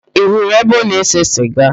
Ị hụrụ ebe ọ na-ese siga?